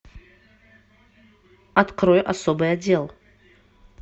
открой особый отдел